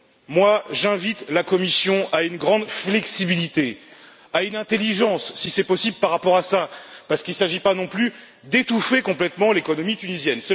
Moi, j'invite la Commission à une grande flexibilité, à une intelligence si possible par rapport à cela, parce qu'il ne s'agit pas non plus d'étouffer complètement l'économie tunisienne.